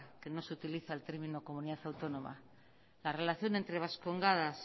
que no se utiliza el término comunidad autónoma la relación entre vascongadas